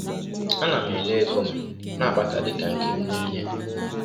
Ana m ele ego m na-akpata dị ka “nke m niile”?